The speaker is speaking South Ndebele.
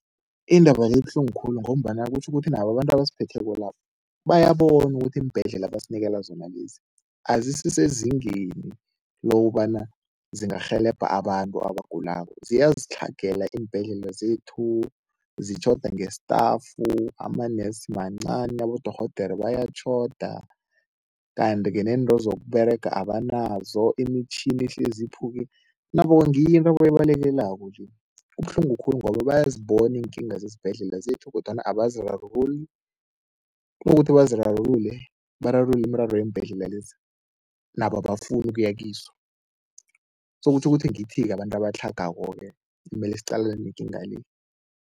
Indaba le ibuhlungu khulu ngombana kutjho ukuthi nabo abantu ebasiphetheko la bayabona ukuthi iimbhedlela abasinikela zona lezi azisisezingeni lokobana zingarhelebha abantu abagulako, ziyazitlhagela iimbhedlela zethu, zitjhoda ngestafu, ama-nurse mancani, abodorhodere bayatjhoda kanti-ke nento zokuberega abanazo. Imitjhini ihlezi iphuke, nabo ngiyo into abayibalekelako nje. Kubuhlungu khulu ngoba bayazibona iinkinga zesibhedlela zethu kodwana abazi rarululi, kunokuthi bazirarulule, bararulule imiraro yeembhedlela lezi, nabo abafuni ukuya kizo so kutjho ukuthi ngithi-ke abantu abatlhagako-ke emele siqalene nekinga le.